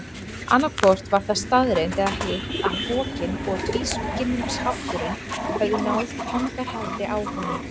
Annaðhvort var það staðreynd eða hitt að hrokinn og tvískinnungshátturinn höfðu náð tangarhaldi á honum.